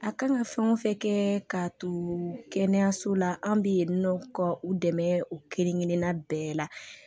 A kan ka fɛn o fɛn kɛ k'a to kɛnɛyaso la an bɛ yen nɔ ka u dɛmɛ u kelen kelenna bɛɛ la